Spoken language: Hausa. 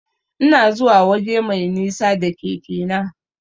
Ina zuwa waje mai nisa da keke na.